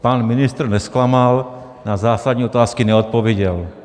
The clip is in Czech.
Pan ministr nezklamal, na zásadní otázky neodpověděl.